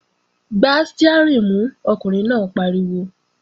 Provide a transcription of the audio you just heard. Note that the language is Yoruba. Gbá stiárìn mú, ọkùnrin náà pariwo!